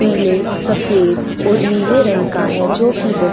पीले सफेद और नीले रंग का है जो कि बहो --